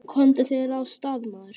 Komdu þér af stað, maður!